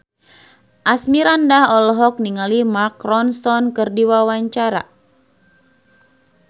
Asmirandah olohok ningali Mark Ronson keur diwawancara